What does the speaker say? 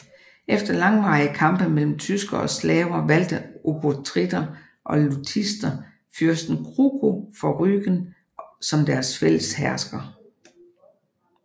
Efter langvarige kampe mellem tyskere og slaver valgte obotritter og lutitser fyrsten Kruko fra Rügen som deres fælles hersker